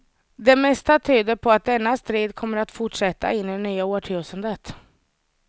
Det mesta tyder på att denna strid kommer att fortsätta in i det nya årtusendet.